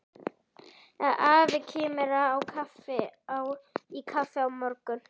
Afi kemur í kaffi á morgun.